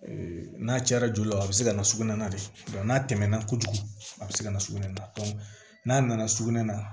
n'a cayara joli la o a be se ka na sugunɛ na de n'a tɛmɛna kojugu a bɛ se ka na sugunɛ na n'a nana sugunɛ na